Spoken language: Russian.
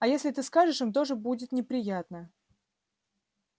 а если ты скажешь им тоже будет неприятно